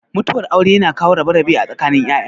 Mutuwar aure yana kawo rabe-rabe a tsakanin ya'ya.